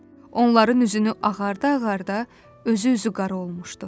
Onların üzünü ağarda-ağarda özü üzü qara olmuşdu.